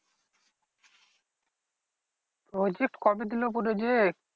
Project কবে দিলো project?